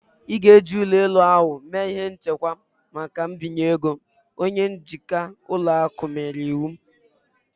Ị ga-eji ụlọ elu ahụ mee ihe nchekwa maka mbinye ego" Onye njikwa ụlọ akụ nyere iwu